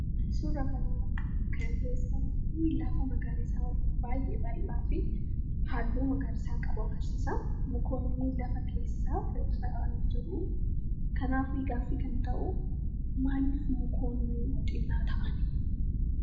Suura kana keessatti, lafa magariisaa baayyee bal'aa fi halluu magariisaa qabu agarsiisa. Mukootni lafa keessa faca'an jiruu , kanaaf gaaffii kan ta'uu, maaliif mukootni xinnaa ta'anii?